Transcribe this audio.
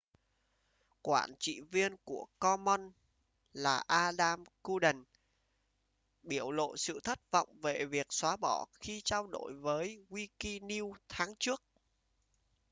quản trị viên của commons là adam cuerden biểu lộ sự thất vọng về việc xóa bỏ khi trao đổi với wikinews tháng trước